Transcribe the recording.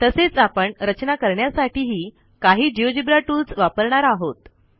तसेच आपण रचना करण्यासाठी ही काही जिओजेब्रा टूल्स वापरणार आहोत